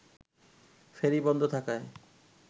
ফেরি বন্ধ থাকায়